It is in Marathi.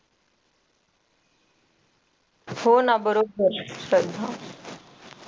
हो ना बरोबर